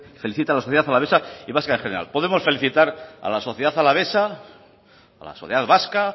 felicita a la sociedad alavesa y vasca en general podemos felicitar a la sociedad alavesa a la sociedad vasca